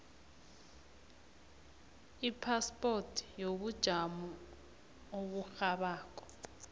ipaspoti yobujamo oburhabako